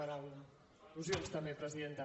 per al·lusions també presidenta